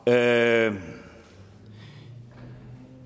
nå jamen